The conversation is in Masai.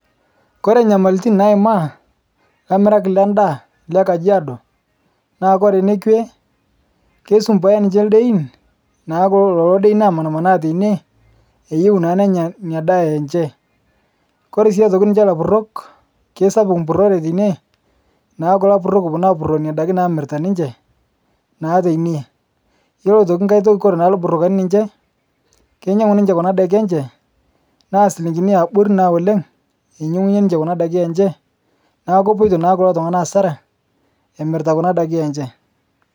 Kore nyamaltin naimaa lamirak le ndaa le Kajiado, naa kore nekwe keisombooya ninche ldein naa kulololo dein omanmanaa teine, eyeu naa nenya inia daa enche. Koore sii aitoki ninche lapurok keisapuk mpurore teine, naku lapurok oponu aapuroo neina daki namirita ninche naa teine. Yuolo aitoki nkae toki koree naa lbrokani ninche keinyang'u kuna daki enche naa silinkini eabori naa oleng' einyeng'unye ninche kuna daki enche naaku kopoto naa kulo tung'ana asara emirita kuna daki enche.